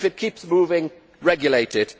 if it keeps moving, regulate it